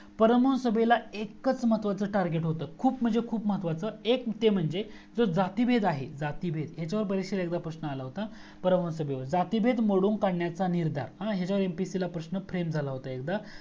परम हंस सभेला एकच महत्वाचा टार्गेट होतं खूप म्हणजे खूप महत्वाचा एक ते मंजे जो जातिभेद आहे जातीभेद हयाच्यावर परीक्षेला प्रश्न आला होता परम हंस सभेवर जातिभेद मोडून काढण्याचा निर्धार हयाच्यावर MPSC ला प्रश्न फ्रेम झाला होता